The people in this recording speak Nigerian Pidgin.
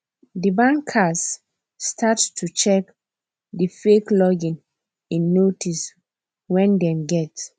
the bankers start to check the fake login in notice wen them get